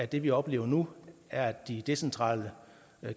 det vi oplever nu at de decentrale